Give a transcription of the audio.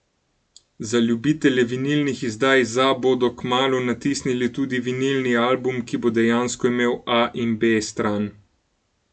Za ljubitelje vinilnih izdaj za bodo kmalu natisnili tudi vinilni album, ki bo dejansko imel A in B stran.